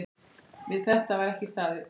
Við þetta var ekki staðið.